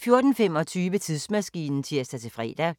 14:25: Tidsmaskinen (tir-fre)